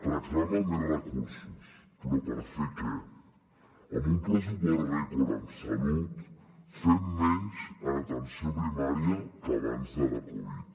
reclama més recursos però per fer què amb un pressupost rècord en salut fem menys en atenció primària que abans de la covid